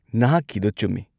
ꯅꯍꯥꯛꯀꯤꯗꯣ ꯆꯨꯝꯃꯤ꯫